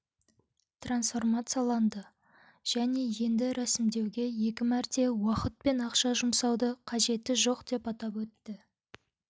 трансформацияланды және енді рәсімдеуге екі мәрте уақыт пен ақша жұмсаудың қажеті жоқ деп атап өтті